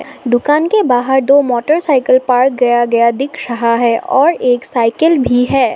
दुकान के बाहर दो मोटरसाइकिल पार्क गया गया दिख रहा है और एक साइकिल भी है।